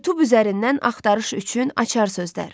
YouTube üzərindən axtarış üçün açar sözlər.